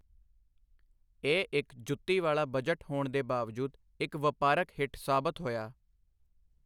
ਇਹ ਇੱਕ ਜੁੱਤੀ ਵਾਲਾ ਬਜਟ ਹੋਣ ਦੇ ਬਾਵਜੂਦ ਇੱਕ ਵਪਾਰਕ ਹਿੱਟ ਸਾਬਤ ਹੋਇਆ।